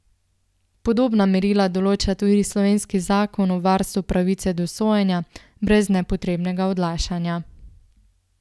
Podobna merila določa tudi slovenski zakon o varstvu pravice do sojenja brez nepotrebnega odlašanja.